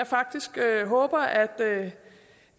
faktisk